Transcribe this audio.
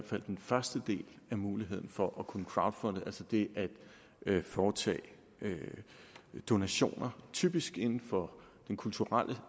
fald den første del af muligheden for at kunne crowdfunde altså det at foretage donationer det typisk inden for den kulturelle